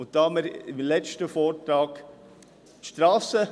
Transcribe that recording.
Da wir im letzten Vortrag das Strassen …